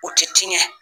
O tɛ tiɲɛ